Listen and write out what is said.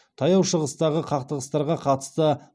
таяу шығыстағы қақтығыстарға қатысты